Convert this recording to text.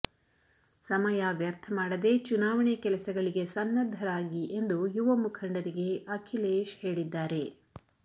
ಸಮಯ ವ್ಯರ್ಥ ಮಾಡದೆ ಚುನಾವಣೆ ಕೆಲಸಗಳಿಗೆ ಸನ್ನದ್ಧರಾಗಿ ಎಂದು ಯುವ ಮುಖಂಡರಿಗೆ ಅಖಿಲೇಶ್ ಹೇಳಿದ್ದಾರೆ